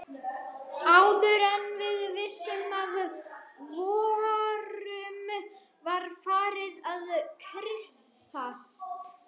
Áður en við vissum af vorum við farin að kyssast.